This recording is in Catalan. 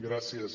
gràcies